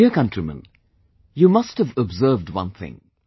My dear countrymen, you must have observed one thing